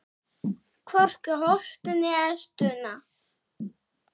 Hvorki hósti né stuna.